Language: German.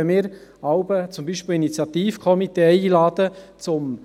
Wenn wir jeweils, zum Beispiel Initiativkomitees einladen, um